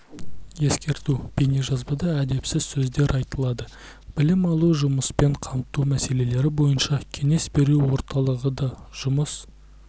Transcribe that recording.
ескерту бейнежазбада әдепсіз сөздер айтылады білім алу жұмыспен қамту мәселелері бойынша кеңес беру орталығы да жұмыс